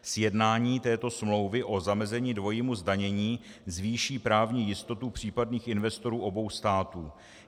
Sjednání této smlouvy o zamezení dvojímu zdanění zvýší právní jistotu případných investorů obou států.